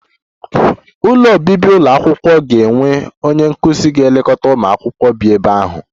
Ụlọ obibi ụlọ akwụkwọ ga-enwe onye nkụzi na-elekọta ụmụ akwụkwọ bi ebe ahụ